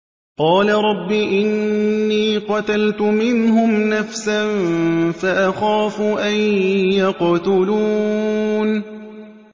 قَالَ رَبِّ إِنِّي قَتَلْتُ مِنْهُمْ نَفْسًا فَأَخَافُ أَن يَقْتُلُونِ